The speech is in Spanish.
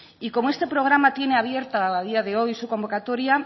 y como este programa tiene abierta a día de hoy su convocatoria